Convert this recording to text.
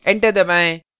enter दबाएँ